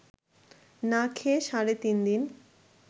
না খেয়ে সাড়ে তিন দিন